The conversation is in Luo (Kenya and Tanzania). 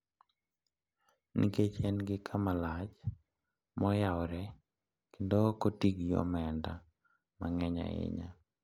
nikech en gi kama lach ma oyawore kendo ok oti gi omenda mang’eny ahinya.